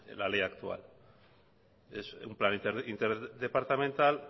la ley actual es un plan interdepartamental